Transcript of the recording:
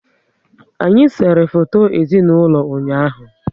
Anyị sere foto ezinaụlọ ụnyaahụ